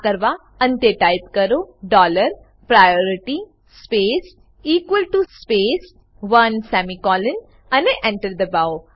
આ કરવા અંતે ટાઈપ કરો dollar priority space equal T O space one semicolon અને Enter દબાઓ